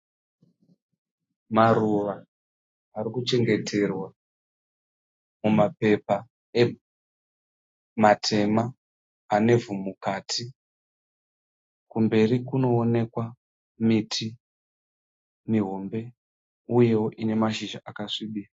Maruva arikuchengeterwa mumapepa matema anevhu mukati. Kumberi kunoonekwa miti mihombe uyewo ine mashizha akasvibira.